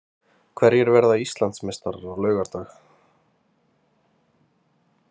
Hverjir verða Íslandsmeistarar á laugardag?